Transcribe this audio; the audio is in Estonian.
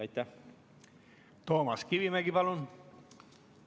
Toomas Kivimägi, palun!